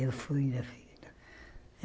Eu fui na fila.